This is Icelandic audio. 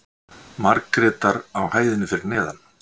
Margrétar á hæðinni fyrir neðan.